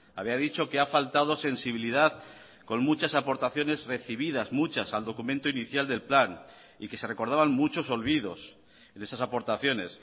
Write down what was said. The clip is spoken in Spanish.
había dicho que ha faltado sensibilidad con muchas aportaciones recibidas muchas al documento inicial del plan y que se recordaban muchos olvidos en esas aportaciones